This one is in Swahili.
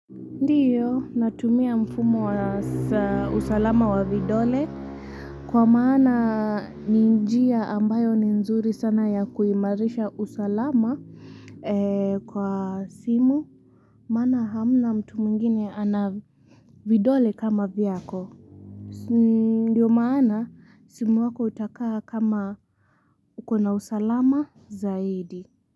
Ndio natumia mfumo wa saa usalama wa vidole kwa maana ninjia ambayo ni nzuri sana ya kuimarisha usalama kwa simu maana hamna mtu mwingine anavidole kama vyako. Ndio maana simu wako utakaa kama ukona usalama zaidi.